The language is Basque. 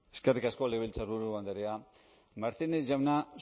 eskerrik asko legebiltzarburu andrea martínez jauna